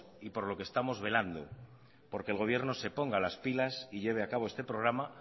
y por lo que estamos velando porque el gobierno se ponga las pilas y lleve a cabo este programa